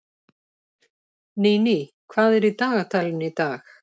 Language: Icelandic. Níní, hvað er í dagatalinu í dag?